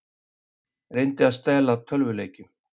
Reyndi að stela tölvuleikjum